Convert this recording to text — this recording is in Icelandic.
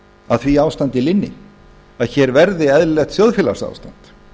að því ástandi linni að hér verði eðlilegt þjóðfélagsástand